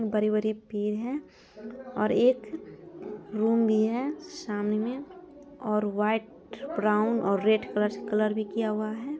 बड़े बड़े पेड़ है और एक रूम भी है सामने में और व्हाइट ब्राउन और रेड कलर्स कलर से किया हुआ है।